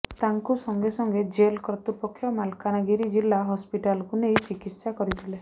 ତାଙ୍କୁ ସଙ୍ଗେ ସଙ୍ଗେ ଜେଲ କର୍ତ୍ତୃପକ୍ଷ ମାଲକାନଗିରି ଜିଲ୍ଲା ହସପିଟାଲକୁ ନେଇ ଚିକିତ୍ସା କରିଥିଲେ